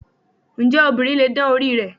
Ǹjẹ́ obìnrin lè dán orí rẹ̀?